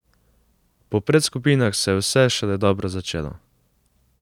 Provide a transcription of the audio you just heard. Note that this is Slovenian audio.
Po predskupinah se je vse šele dobro začelo.